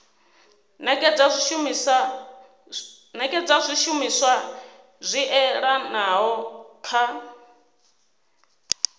nekedza zwishumiswa zwi oeaho kha